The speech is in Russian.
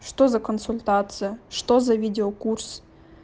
что за консультация что за видеокурс